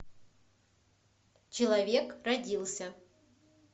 человек родился